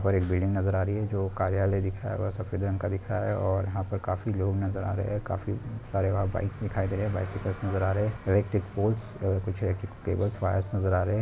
और एक बिल्डिंग नज़र आ रही है जो कर्याले दिख रहा है वह सफ़ेद रंग का दिख रहा है और यहाँ काफी लोग नज़र आ रहे है काफी सारे वहा बाइक्स दिखाई दे रहे है बाइक्स से इलेक्ट्रिक पोल्स अह कुछ इलेक्ट्रिक टेबलस वायर्स नज़र आ रहे है।